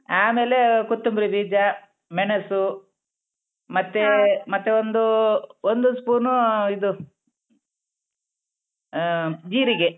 ಆಮೇಲೆ ಕೊತ್ತೊಂಬರಿ ಬೀಜ ಮೆಣಸು ಮತ್ತೇ ಮತ್ತೆ ಒಂದೂ ಒಂದೂ ಸ್ಪೂನು ಇದು ಆ ಜೀರಿಗೆ.